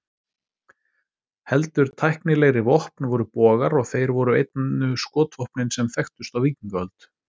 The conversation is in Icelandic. Heldur tæknilegri vopn voru bogar, og þeir voru einu skotvopnin sem þekktust á víkingaöld.